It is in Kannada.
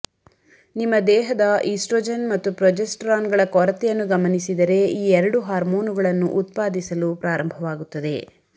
ನಿಮ್ಮ ದೇಹದ ಈಸ್ಟ್ರೊಜೆನ್ ಮತ್ತು ಪ್ರೊಜೆಸ್ಟರಾನ್ಗಳ ಕೊರತೆಯನ್ನು ಗಮನಿಸಿದರೆ ಈ ಎರಡು ಹಾರ್ಮೋನುಗಳನ್ನು ಉತ್ಪಾದಿಸಲು ಪ್ರಾರಂಭವಾಗುತ್ತದೆ